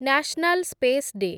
national space day